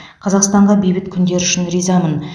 қазақстанға бейбіт күндер үшін ризамын